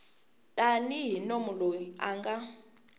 tanihi munhu loyi a nga